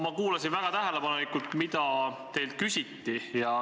Ma kuulasin väga tähelepanelikult, mida teilt küsiti.